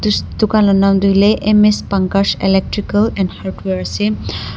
thuss dukan la nam toh hoilae M_S pankaj electrical and hardware ase--